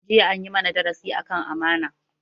Jiya an yi mana darasi akan amana